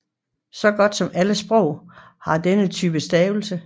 Så godt som alle sprog har denne type stavelse